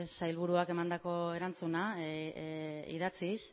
sailburuak emandako erantzuna idatziz